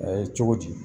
A ye cogo di